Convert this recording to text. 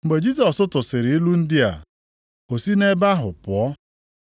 Mgbe Jisọs tụsịrị ilu ndị a, o si ebe ahụ pụọ.